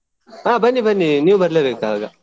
ಹಾ ಬನ್ನಿ ಬನ್ನಿ ನೀವ್ ಬರ್ಲೆಬೇಕ್ ಆಗ.